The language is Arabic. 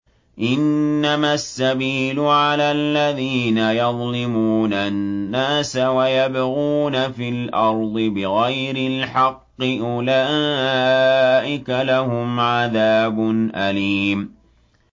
إِنَّمَا السَّبِيلُ عَلَى الَّذِينَ يَظْلِمُونَ النَّاسَ وَيَبْغُونَ فِي الْأَرْضِ بِغَيْرِ الْحَقِّ ۚ أُولَٰئِكَ لَهُمْ عَذَابٌ أَلِيمٌ